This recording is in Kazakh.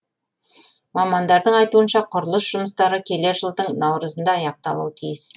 мамандардың айтуынша құрылыс жұмыстары келер жылдың наурызында аяқталуы тиіс